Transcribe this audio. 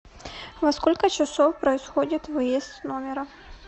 во сколько часов происходит выезд с номера